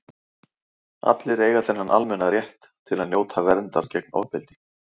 allir eiga þennan almenna rétt til að njóta verndar gegn ofbeldi